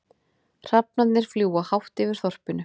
Hrafnarnir fljúga hátt yfir þorpinu.